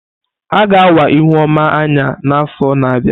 A ga awa Ihuoma anya n'afọ na-abịa.